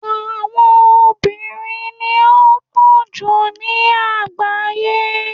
obìnrin ni o po ju ni agbaye